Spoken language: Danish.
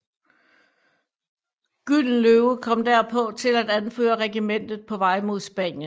Gyldenløve kom derpå til at anføre regimentet på vej mod Spanien